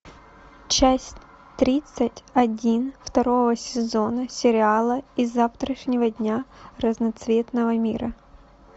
часть тридцать один второго сезона сериала из завтрашнего дня разноцветного мира